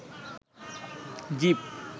zip